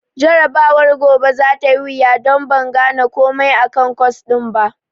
Jarabawar gobe za ta yi wuya don ban gane komai akan kwas ɗin ba.